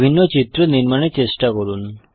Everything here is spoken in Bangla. বিভিন্ন চিত্র নির্মাণের চেষ্টা করুন